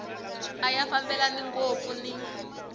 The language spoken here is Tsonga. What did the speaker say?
a ya fambelani ngopfu ni